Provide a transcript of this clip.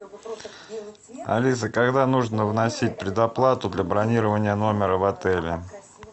алиса когда нужно вносить предоплату для бронирования номера в отеле